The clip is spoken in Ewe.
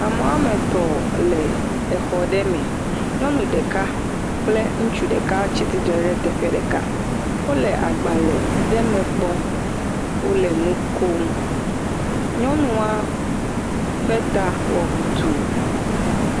Amewo woa me etɔ le exɔ ɖe me nyɔnu ɖeka kple ŋutsu ɖeka tsi tsitre ɖe teƒe ɖeka, wo le agbalẽ ɖe me kpɔm, wo le nu kom, nyɔnua ƒe ta wɔ ʋutuu